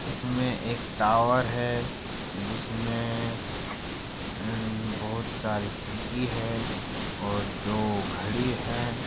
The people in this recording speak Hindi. इसमें एक टावर है जिसमें उम बहोत सारी खिड़की हैं और दो घड़ी हैं ।